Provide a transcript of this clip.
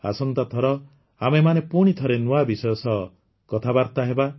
ଆସନ୍ତାଥର ଆମେମାନେ ପୁଣିଥରେ ନୂଆ ବିଷୟ ସହ କଥାବାର୍ତ୍ତା ହେବା